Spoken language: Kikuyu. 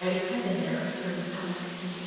Ndagĩtarĩ nĩ arokire gwitũ mũciĩ.